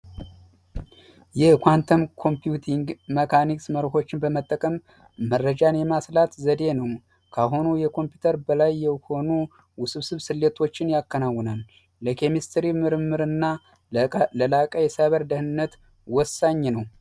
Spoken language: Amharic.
የኳንተም ኮምፒውቲንግ መካኒክ መርሆችን በመጠቀም መረጃ የማስላት ዘዴ ነው ካሁኑ የኮምፒውተር በላይ ከሆኑ ስለቶችን ያከናውናል ኬሚስትሪ ምርምርና ደህንነት ወሳኝ ነው